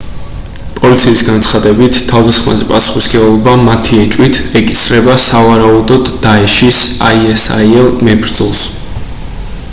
პოლიციის განცხადებით თავდასხმაზე პასუხისმგებლობა მათი ეჭვით ეკისრება სავარაუდოდ დაეშის isil მებრძოლს